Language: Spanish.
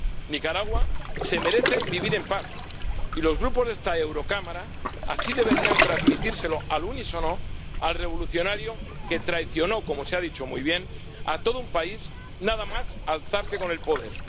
Nicaragua se merece vivir en paz, y los grupos de esta Cámara así deberían transmitírselo al unísono al revolucionario que traicionó ―como se ha dicho muy bien― a todo un país nada más alzarse con el poder.